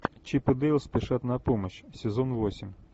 чип и дейл спешат на помощь сезон восемь